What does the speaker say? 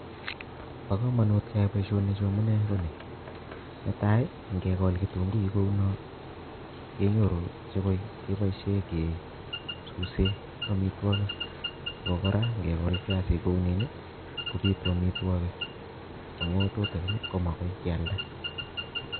Bokomonut kee nyai boisioni chuu amunee konii nee taii ngekol kitunguik kounoo kenyoru chekoi kee boishei kee suse amitwokik ak ko kora eng kol viasik kouniin kobitu amitwokik amuu tutikin komakoi keealda